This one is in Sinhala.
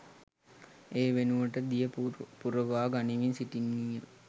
ඒ වෙනුවට දිය පුරවා ගනිමින් සිටින්නීය